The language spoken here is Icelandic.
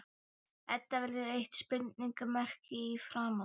Edda verður eitt spurningarmerki í framan.